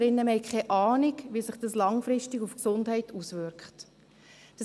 Wir haben keine Ahnung, wie sich dies langfristig auf die Gesundheit auswirken wird.